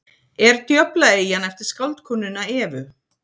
er djöflaeyjan eftir skáldkonuna evu